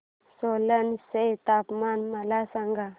सोलन चे तापमान मला सांगा